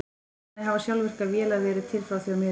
Þannig hafa sjálfvirkar vélar verið til frá því á miðöldum.